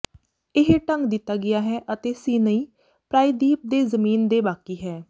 ਇਹ ਢੰਗ ਦਿੱਤਾ ਗਿਆ ਹੈ ਅਤੇ ਸੀਨਈ ਪ੍ਰਾਇਦੀਪ ਦੇ ਜ਼ਮੀਨ ਦੇ ਬਾਕੀ ਹੈ